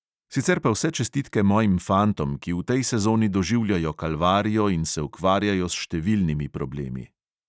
Sicer pa vse čestitke mojim fantom, ki v tej sezoni doživljajo kalvarijo in se ukvarjajo s številnimi problemi.